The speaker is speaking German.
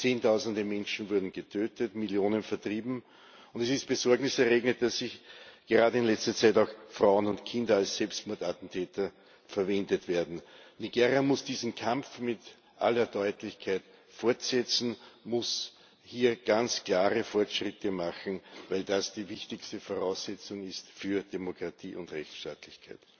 Zehntausende Menschen wurden getötet, Millionen vertrieben, und es ist besorgniserregend, dass gerade in letzter Zeit auch Frauen und Kinder als Selbstmordattentäter verwendet werden. Nigeria muss diesen Kampf mit aller Deutlichkeit fortsetzen, muss hier ganz klare Fortschritte machen, weil das die wichtigste Voraussetzung ist für Demokratie und Rechtsstaatlichkeit.